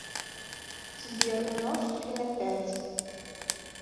сбер умножь три на пять